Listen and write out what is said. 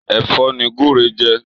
Èfò ni gúrú n jè